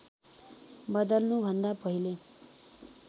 बदल्नु भन्दा पहिले